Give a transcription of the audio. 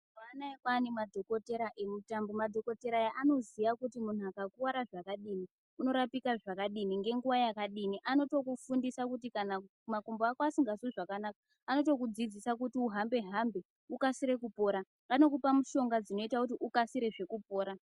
Mazuwanaya kwaane madhokodhera eutano madhokodhera aya anoziya kuti munthu akakuwara zvakadini unorapika zvakadini ngenguwa yakadini anotokufundisa kuti kana makumbo ako asingazwi zvakanaka anotokudzidzisa kuti uhambe hambe ukasira kupora anokupahe mishonga dzinoita kuti ukasire kupora.